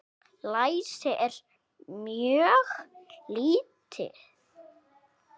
Læsi er mjög lítið.